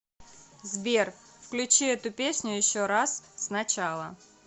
сбер включи эту песню еще раз сначала